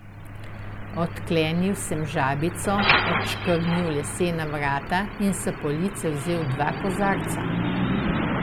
Odklenil sem žabico, odškrnil lesena vrata in s police vzel dva kozarca.